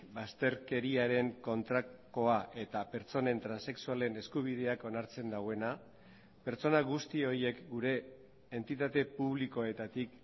bazterkeriaren kontrakoa eta pertsonen transexualen eskubideak onartzen duena pertsona guzti horiek gure entitate publikoetatik